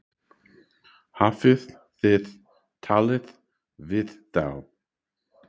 Hafið þið talað við þá?